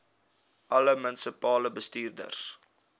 alle munisipale bestuurders